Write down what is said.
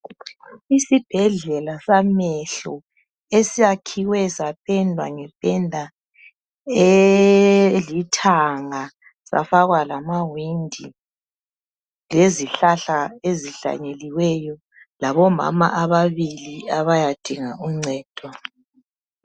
Isibhedlela samehlo esiyakhiwe sapendwa ngependa elithanga safakwa lamawindi lezihlahla ezihlanyeliweyo labomama ababili abayadinga uncedo.